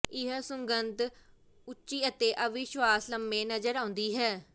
ਇਹ ਸੁਗੰਧਤ ਉੱਚੀ ਅਤੇ ਅਵਿਸ਼ਵਾਸ ਲੰਮੇ ਨਜ਼ਰ ਆਉਂਦੀ ਹੈ